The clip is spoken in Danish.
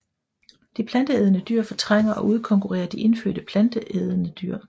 De planteædende dyr fortrænger og udkonkurrerer de indfødte planteædende dyr